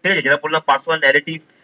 ঠিক আছে যেটা বললাম personal narrative